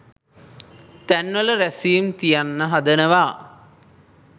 තැන්වල රැස්වීම් තියන්න හදනවා